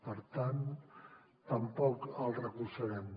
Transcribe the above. per tant tampoc el recolzarem